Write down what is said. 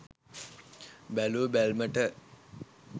බැලූ බැල්මට,